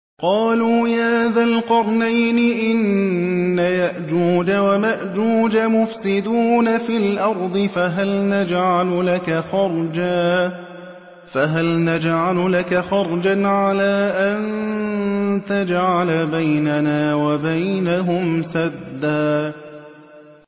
قَالُوا يَا ذَا الْقَرْنَيْنِ إِنَّ يَأْجُوجَ وَمَأْجُوجَ مُفْسِدُونَ فِي الْأَرْضِ فَهَلْ نَجْعَلُ لَكَ خَرْجًا عَلَىٰ أَن تَجْعَلَ بَيْنَنَا وَبَيْنَهُمْ سَدًّا